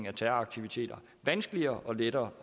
af terroraktiviteter vanskeligere og lettere